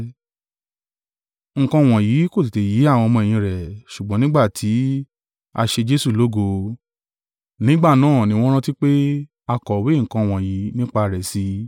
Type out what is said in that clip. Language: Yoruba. Nǹkan wọ̀nyí kò tètè yé àwọn ọmọ-ẹ̀yìn rẹ̀, ṣùgbọ́n nígbà tí a ṣe Jesu lógo, nígbà náà ni wọ́n rántí pé, a kọ̀wé nǹkan wọ̀nyí nípa rẹ̀ sí i.